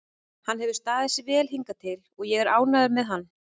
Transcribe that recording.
Hann hefur staðið sig vel hingað til og ég er ánægður með hann.